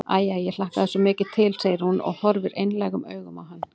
Æ, æ, ég hlakkaði svo mikið til, segir hún og horfir einlægum augum á hann.